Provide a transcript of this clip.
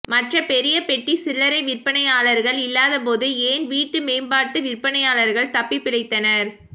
மற்ற பெரிய பெட்டி சில்லறை விற்பனையாளர்கள் இல்லாதபோது ஏன் வீட்டு மேம்பாட்டு விற்பனையாளர்கள் தப்பிப்பிழைத்தனர்